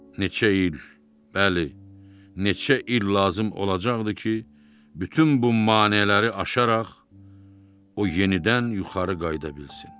Neçə il, bəli, neçə il lazım olacaqdı ki, bütün bu maneələri aşaraq o yenidən yuxarı qalxa bilsin.